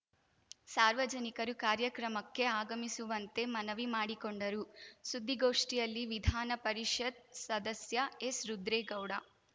ಸಾರ್ವಜನಿಕರು ಕಾರ್ಯಕ್ರಮಕ್ಕೆ ಆಗಮಿಸುವಂತೆ ಮನವಿ ಮಾಡಿಕೊಂಡರು ಸುದ್ದಿಗೋಷ್ಠಿಯಲ್ಲಿ ವಿಧಾನ ಪರಿಷತ್‌ ಸದಸ್ಯ ಎಸ್‌ರುದ್ರೇಗೌಡ